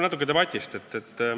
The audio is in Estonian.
Natuke debatist.